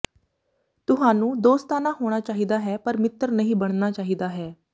ਤੁਹਾਨੂੰ ਦੋਸਤਾਨਾ ਹੋਣਾ ਚਾਹੀਦਾ ਹੈ ਪਰ ਮਿੱਤਰ ਨਹੀਂ ਬਣਨਾ ਚਾਹੀਦਾ ਹੈ